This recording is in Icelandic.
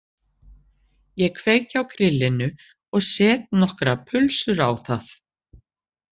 Ég kveiki á grillinu og set nokkrar pulsur á það